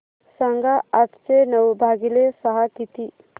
सांगा आठशे नऊ भागीले सहा किती